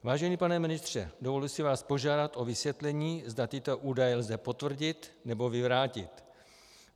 Vážený pane ministře, dovoluji si vás požádat o vysvětlení, zda tyto údaje lze potvrdit nebo vyvrátit.